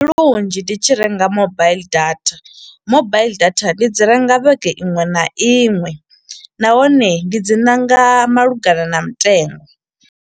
Ndi lunzhi ndi tshi renga mobaiḽi data. Mobaiḽi data ndi dzi renga vhege iṅwe na iṅwe, nahone ndi dzi ṋanga malugana na mutengo.